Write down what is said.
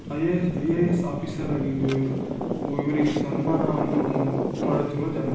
IA S IAS officer ಆಗಿದ್ದು ಇವರು ಇವರಿಗೆ ಸನ್ಮಾನವನ್ನು ಮಾಡುತ್ತಿರುವ ಜಾಗ .